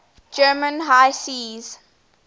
german high seas